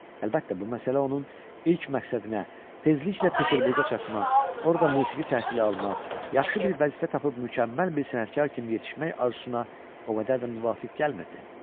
Əlbəttə, bu məsələ onun ilk məqsədinə, tezliklə Peterburqa çatmaq, orda musiqi təhsili almaq, yaxşı bir vəzifə tapıb mükəmməl bir sənətkar kimi yetişmək arzusuna o qədər də müvafiq gəlmirdi.